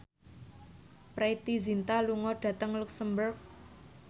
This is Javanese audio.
Preity Zinta lunga dhateng luxemburg